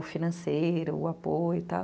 o financeiro, o apoio e tal.